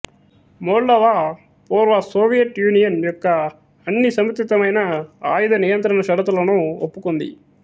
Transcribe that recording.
Moldova పూర్వ Soviet Union యొక్క అన్ని సముచితమైన ఆయుధ నియంత్రణ షరతులను ఒప్పుకుంది